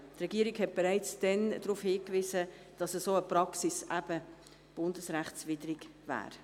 Die Regierung wies bereits damals darauf hin, dass eine solche Praxis bundesrechtswidrig wäre.